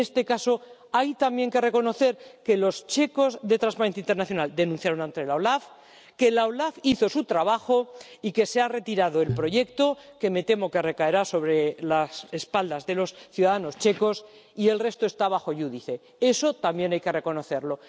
Y en este caso hay también que reconocer que los checos de Transparencia Internacional denunciaron ante la OLAF, que la OLAF hizo su trabajo, y que se ha retirado el proyecto —que me temo que recaerá sobre las espaldas de los ciudadanos checos— y el resto está sub iudice Eso también hay que reconocerlo.